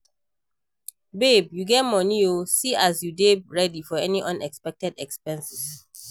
Babe you get money oo, see as you dey ready for any unexpected expense